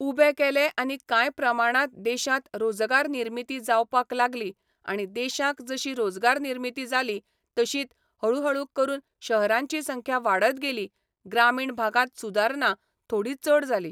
उबे केले आनी काय प्रमाणांत देशांत रोजगार निर्मिती जावपाक लागली आणी देशांक जशी रोजगार निर्मिती जाली तशींत हळुहळू करून शहरांची संख्या वाडत गेली ग्रामीण भागांत सुदारणा थोडी चड जाली